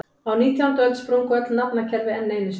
Á nítjándu öld sprungu öll nafnakerfi enn einu sinni.